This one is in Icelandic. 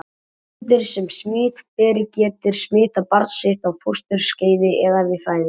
Móðir sem er smitberi getur smitað barn sitt á fósturskeiði eða við fæðingu.